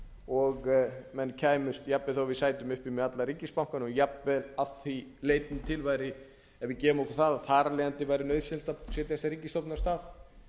og menn kæmust jafnvel þó við sætum uppi með alla ríkisbankana og jafnvel að því leytinu til ef við gefum okkur það að þar af leiðandi væri nauðsynlegt að setja þessa ríkisstofnun af stað